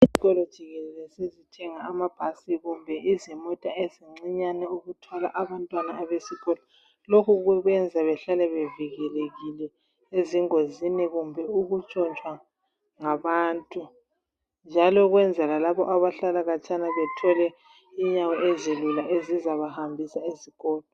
izikolo gikelele sezithenga amabhasi kumbe izimota ezincinyane ukuthwala abantwana besikolo lokho kubayenza behlale bevikelekile e kumbe ukutshontshwa ngabantu njalo ukwenzela labo abahlala khatshana bethole inyawo ezilula ezizabahambisa esikolo.